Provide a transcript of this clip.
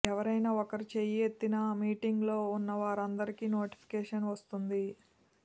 ఎవరైనా ఒకరు చేయి ఎత్తినా మీటింగ్లో ఉన్న వారందరికీ నోటిఫికేషన్ వస్తుంది